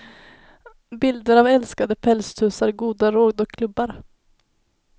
Bilder av älskade pälstussar, goda råd och klubbar.